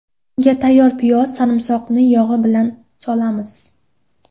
Unga tayyor piyoz va sarimsoqni yog‘i bilan solamiz.